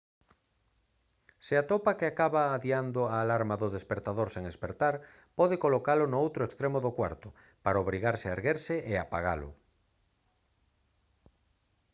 se atopa que acaba adiando a alarma do espertador sen espertar pode colocalo no outro extremo do cuarto para obrigarse a erguerse e apagalo